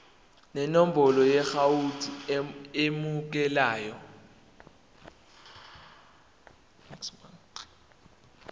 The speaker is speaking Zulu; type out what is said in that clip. nenombolo yeakhawunti emukelayo